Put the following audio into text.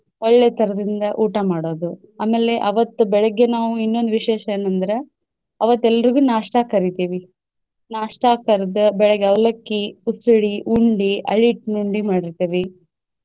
ಒಳ್ಳೇ ತರದಿಂದ ಊಟ ಮಾಡೋದು ಆಮೇಲೆ ಅವತ್ತ ಬೆಳಗ್ಗೆ ನಾವು ಇನ್ನೊಂದ್ ವಿಶೇಷ ಏನಂದ್ರೆ ಅವತ್ತ ಎಲ್ರಿಗು नाश्ता ಕ ಕರಿತೇವಿ नाश्ता ಕರ್ದ್ ಬೆಳಗ್ಗೆ ಅವಲಕ್ಕಿ, ಉಸಳಿ, ಉಂಡಿ, ಹರ್ಲಿಟ್ಟಿನ್ ಉಂಡಿ ಮಾಡಿರ್ತೆವಿ.